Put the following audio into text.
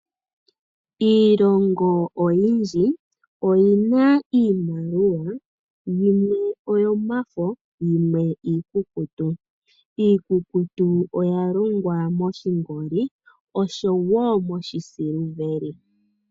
Iilongo oyindji oyina iimaliwa, yimwe oyomafo, yimwe iikukutu. Iikukutu oya longwa moshingoli, noshowo moshisiliveli.